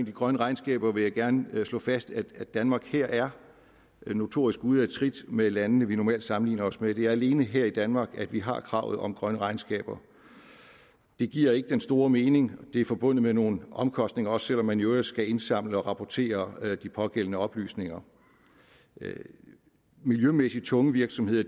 de grønne regnskaber vil jeg gerne slå fast at danmark her er notorisk ude af trit med landene som vi normalt sammenligner os med det er alene her i danmark at vi har kravet om grønne regnskaber det giver ikke den store mening og det er forbundet med nogle omkostninger også selv om man i øvrigt skal indsamle og rapportere de pågældende oplysninger miljømæssig tunge virksomheder